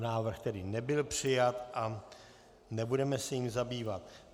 Návrh tedy nebyl přijat a nebudeme se jím zabývat.